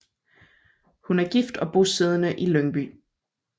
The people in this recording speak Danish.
Hun er gift og bosiddende i Lyngby